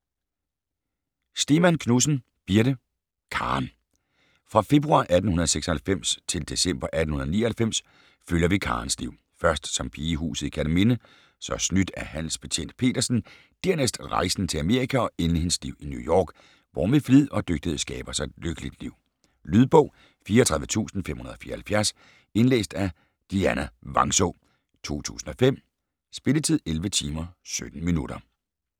Stemann Knudsen, Birthe: Karen Fra februar 1876 til december 1899 følger vi Karens liv, først som pige i huset i Kerteminde, så snydt af handelsbetjent Petersen, dernæst rejsen til Amerika og endelig hendes liv i New York, hvor hun ved flid og dygtighed skaber sig et lykkeligt liv. Lydbog 34574 Indlæst af Dianna Vangsaa, 2005. Spilletid: 11 timer, 17 minutter.